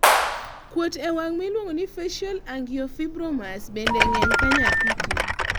kuot e wang miluongo facial angiofibromas bende ng'eny ka nyathi ti